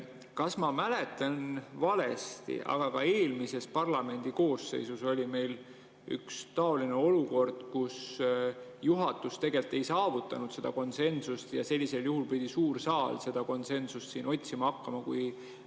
Kas ma mäletan valesti, et ka eelmises parlamendikoosseisus oli meil üks taoline olukord, kus juhatus ei saavutanud konsensust, ja sellisel juhul pidi suur saal seda konsensust otsima hakkama?